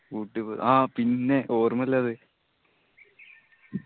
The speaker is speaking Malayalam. ഊട്ടി പോയത് ആ പിന്നെ ഓർമില്ലാതെ